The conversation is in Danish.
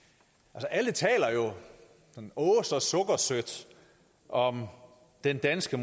alle taler jo åh så sukkersødt om den danske